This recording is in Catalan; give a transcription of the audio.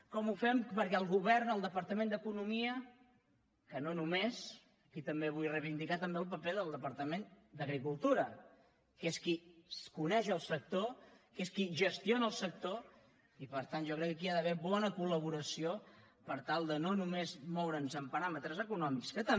com ho fem perquè el govern el departament d’economia que no només aquí també vull reivindicar el paper del departament d’agricultura que és qui coneix el sector que és qui gestiona el sector i per tant jo crec que aquí hi ha d’haver bona col·laboració per tal de no només moure’ns en paràmetres econòmics que també